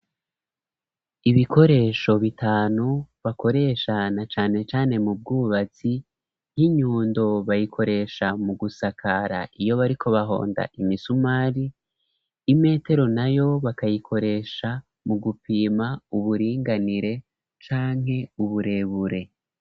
Ibikoresho bitanu bakoresha na cane cane mu bwubatsi, nk'inyundo bayikoresha mu gusakara iyo bariko bahonda imisumari, imetero nayo bakayikoresha mu gupima uburinganire canke uburebure.